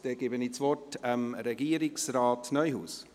Ich gebe das Wort Regierungsrat Neuhaus.